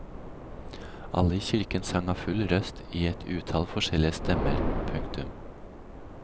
Alle i kirken sang av full røst i et utall forskjellige stemmer. punktum